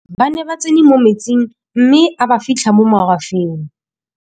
ba ne ba tsene mo metsing mme a ba fitlha mo magwafeng